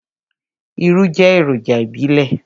Irú jẹ́ èròjà ìbílẹ̀.